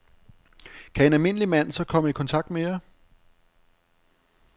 Kan en almindelig mand så komme i kontakt med jer?